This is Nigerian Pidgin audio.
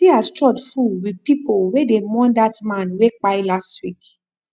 see as church full with pipu wey dey mourn dat man wey kpai last week